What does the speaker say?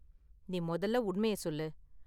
நீ மொதல்ல உண்மைய சொல்லு.